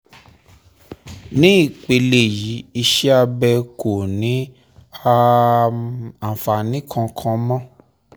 ní ìpele yìí iṣẹ́ abẹ kò ní um àǹfààní kankan mọ́